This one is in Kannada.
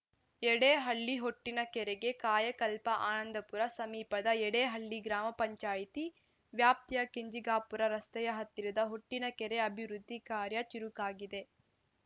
ಯಡೇಹಳ್ಳಿ ಹೊಟ್ಟಿನ ಕೆರೆಗೆ ಕಾಯಕಲ್ಪ ಆನಂದಪುರ ಸಮೀಪದ ಯಡೇಹಳ್ಳಿ ಗ್ರಾಮ ಪಂಚಾಯಿತಿ ವ್ಯಾಪ್ತಿಯ ಕೆಂಜಿಗಾಪುರ ರಸ್ತೆಯ ಹತ್ತಿರದ ಹೊಟ್ಟಿನ ಕೆರೆ ಅಭಿವೃದ್ಧಿ ಕಾರ್ಯ ಚುರುಕಾಗಿದೆ